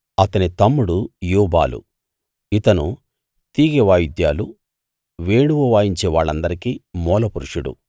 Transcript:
అతని తమ్ముడు యూబాలు ఇతను తీగె వాయుద్యాలు వేణువు వాయించే వాళ్ళందరికీ మూలపురుషుడు